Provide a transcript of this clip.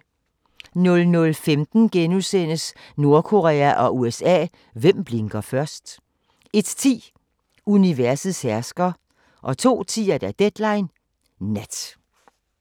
00:15: Nordkorea og USA – hvem blinker først? * 01:10: Universets hersker 02:10: Deadline Nat